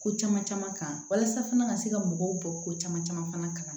Ko caman caman kan walasa fana ka se ka mɔgɔw bɔ ko caman caman fana kalama